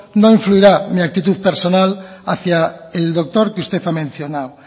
no influirá mi actitud personal hacia el doctor que usted ha mencionado